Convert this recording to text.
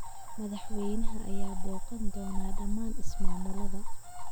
Madaxweynaha ayaa booqan doona dhammaan ismaamulada.